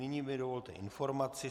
Nyní mi dovolte informaci.